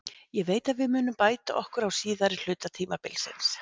Ég veit að við munum bæta okkur á síðari hluta tímabilsins.